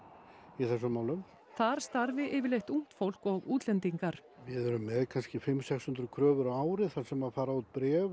í þessum málum þar starfi yfirleitt ungt fólk og útlendingar við erum með kannski fimm sex hundruð kröfur á ári þar sem fara út bréf